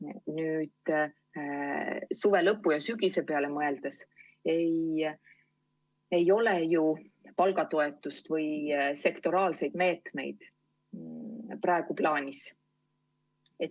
Kui nüüd suve lõpu ja sügise peale mõelda, siis ei ole ju palgatoetusi või sektoriaalseid meetmeid praegu plaanis.